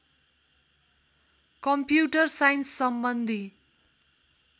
computer साइन्ससम्बन्धी